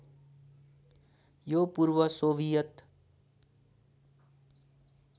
यो पूर्व सोभियत